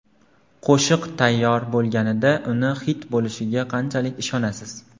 Qo‘shiq tayyor bo‘lganida uni xit bo‘lishiga qanchalik ishonasiz?